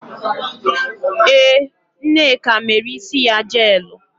Ee, Nneka mere isi ya jeelụ.